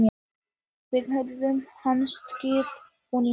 Við hlið hans gekk bóndinn.